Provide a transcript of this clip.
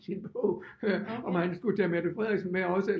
Sin bog om han skulle tage Mette Frederiksen med også